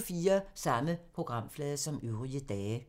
Samme programflade som øvrige dage